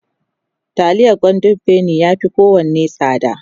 taliyar golden penny ya Fi kowanne tsada